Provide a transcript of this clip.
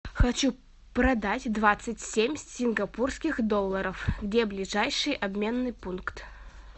хочу продать двадцать семь сингапурских долларов где ближайший обменный пункт